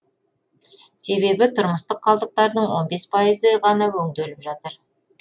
себебі тұрмыстық қалдықтардың он бес пайызы ғана өңделіп жатыр